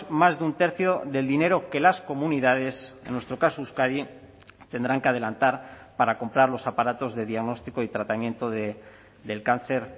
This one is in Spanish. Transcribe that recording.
más de un tercio del dinero que las comunidades en nuestro caso euskadi tendrán que adelantar para comprar los aparatos de diagnóstico y tratamiento del cáncer